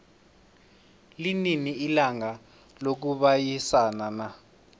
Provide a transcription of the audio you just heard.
linini ilanga lokubayisana na